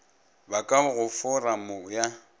ba ka go foramo ya